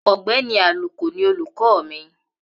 Ogbéni Àlùkò ni olùkọ́ mìi